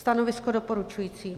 Stanovisko: doporučující.